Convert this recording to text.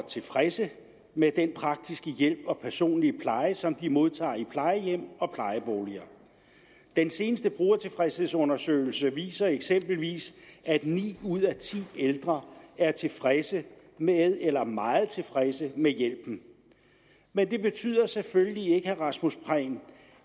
tilfredse med den praktiske hjælp og personlige pleje som de modtager i plejehjem og plejeboliger den seneste brugertilfredshedsundersøgelse viser eksempelvis at ni ud af ti ældre er tilfredse med eller meget tilfredse med hjælpen men det betyder selvfølgelig ikke herre rasmus prehn